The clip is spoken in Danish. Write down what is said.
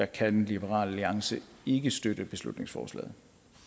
kan liberal alliance ikke støtte beslutningsforslaget